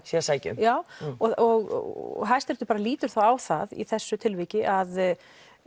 séu að sækja um já og hæsti réttu bara lítur þá á það í þessu tilviki að